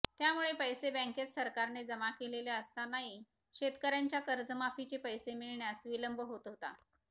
त्यामुळे पैसे बँकेत सरकारने जमा केलेले असतानाही शेतकऱ्यांच्या कर्जमाफीचे पैसे मिळण्यास विलंब होत होता